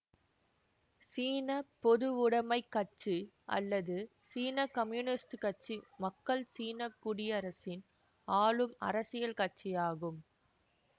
சீன பொதுவுடமைக் கட்சி அல்லது சீன கம்யூனிஸ்ட் கட்சி மக்கள் சீன குடியரசின் ஆளும் அரசியல் கட்சியாகும்